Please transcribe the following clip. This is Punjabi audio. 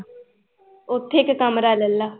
ਉੱਥੇ ਇੱਕ ਕਮਰਾ ਲੈ ਲਾ